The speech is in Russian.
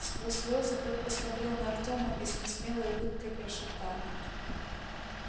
сквозь слёзы тот посмотрел на артёма и с несмелой улыбкой прошептал